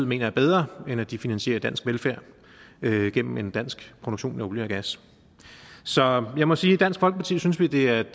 mener er bedre end at de finansierer dansk velfærd gennem en dansk produktion af olie og gas så jeg må sige i dansk folkeparti synes det er